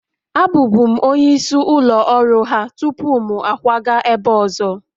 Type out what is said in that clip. Abụbu'm onye isi ụlọ ọrụ ha tupu m akwaga ebe ọzọ